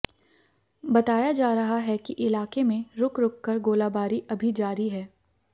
बताया जा रहा है कि इलाके में रूक रूक कर गोलाबारी अभी जारी है